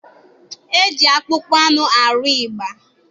E ji akpụkpọ anụ arụ ịgba.